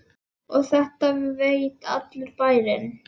Og þetta veit allur bærinn?